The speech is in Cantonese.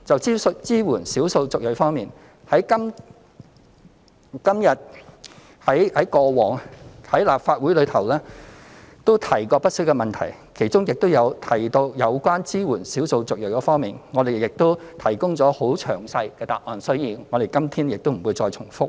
就支援少數族裔方面，過往在立法會也曾提過不少問題，其中亦有就支援少數族裔提供很詳細的答覆，所以我們今天不再重複。